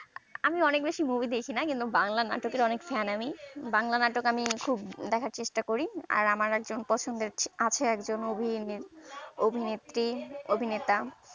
আমি অনেক বেশি movie দেখিনা কিন্তু বাংলা নাটক এর অনেক fan আমি বাংলা নাটক আমি খুব দেখার চেষ্টা করি আর আমার একজন পছন্দের আছে একজন অভি অভিনেত্রী অভিনেতা